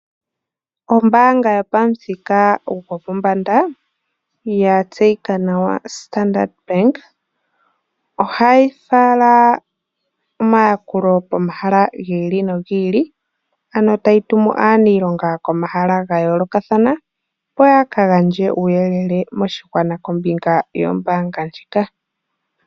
Ombaanga yopamuthika gwopombanda yatseyika nawa Standard Bank ohayi fala omayakulo pomahala gi ili nogi ili ano tayi tumu aaniilonga pomahala ga yoolokathana opo yaka gandje uuyelele moshigwana kombinga yombaanga ndjika.